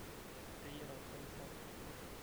iteyiara orgali sapuk